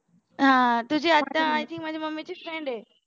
हा तुझी आत्या ती माझ्या मम्मीची friend आहे